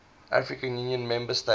african union member states